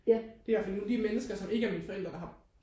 Det er ihvertfald de mennesker som ikke er min familie der har